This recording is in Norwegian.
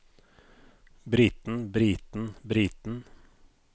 briten briten briten